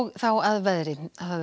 þá að veðri